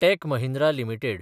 tech Mahindra limited